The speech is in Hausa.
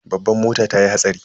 Babban mota tayi hatsari.